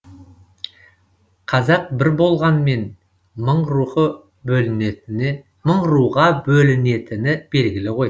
қазақ бір болғанмен мың руға бөлінетіні белгілі ғой